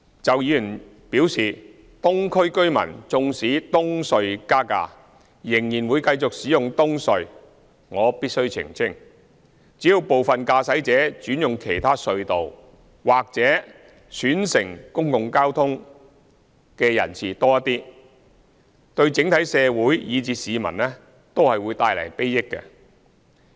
就議員表示，東區居民縱使東隧加價仍然會繼續使用東隧，我必須澄清，只要部分駕駛者轉用其他隧道，或選乘公共交通的人士多一些，對整體社會以至市民都會帶來裨益。